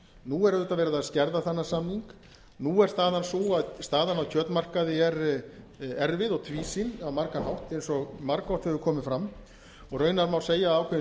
nú er auðvitað verið að skerða þennan samning nú er staðan sú að staðan á kjötmarkaði er erfið og tvísýn á margan hátt eins og margoft hefur komið fram og raunar má segja að ákveðin